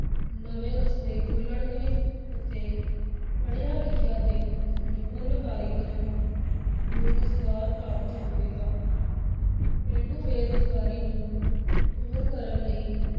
ਨਵੇਂ ਰਸਤੇ ਖੁੱਲ੍ਹਣਗੇ ਅਤੇ ਪੜ੍ਹਿਆਂ-ਲਿਖਿਆਂ ਤੇ ਨਿਪੁੰਨ ਕਾਰੀਗਰਾਂ ਨੂੰ ਰੁਜ਼ਗਾਰ ਪ੍ਰਾਪਤ ਹੋਵੇਗਾ ਪੇਂਡੂ ਬੇਰੁਜ਼ਗਾਰੀ ਨੂੰ ਦੂਰ ਕਰਨ ਲਈ